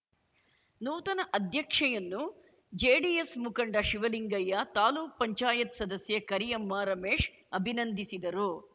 ನೂತನ ಅಧ್ಯಕ್ಷೆಯನ್ನು ಜೆಡಿಎಸ್ ಮುಖಂಡ ಶಿವಲಿಂಗಯ್ಯ ತಾಲ್ಲುಕ್ಪಂಚಾಯತ್ ಸದಸ್ಯೆ ಕರಿಯಮ್ಮ ರಮೇಶ್ ಅಭಿನಂದಿಸಿದರು